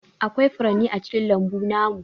Aƙwai furanni a cikin lambu namu.